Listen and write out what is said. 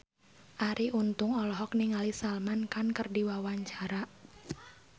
Arie Untung olohok ningali Salman Khan keur diwawancara